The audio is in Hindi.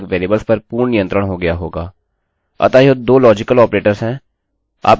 अतः यह दो लाजिकल ऑपरेटर्स हैं